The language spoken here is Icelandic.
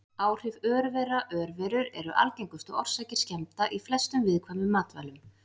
Áhrif örvera Örverur eru algengustu orsakir skemmda í flestum viðkvæmum matvælum.